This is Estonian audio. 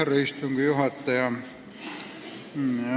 Härra istungi juhataja!